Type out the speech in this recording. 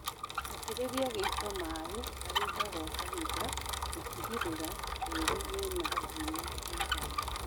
Itĩrĩria gĩito maĩĩ kahinda gwa kahinda gũtigĩrĩra tĩri wĩna ũgunyu mũiganu